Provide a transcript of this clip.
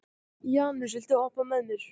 Janus, viltu hoppa með mér?